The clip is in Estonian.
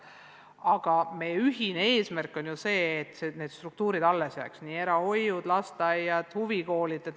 Aga meie ühine eesmärk on ju see, et need struktuuriüksused – erahoiud, lasteaiad, huvikoolid – alles jääksid.